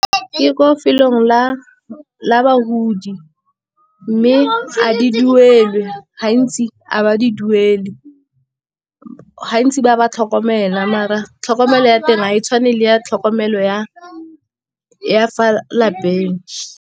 Ke ko felong la bagodi, mme a di duelwe gantsi a ba di duele, gantsi ba ba tlhokomela mara tlhokomelo ya teng ga e tshwane le ya tlhokomelo ya fa lapeng.